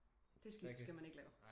Det skift skal man ikke lave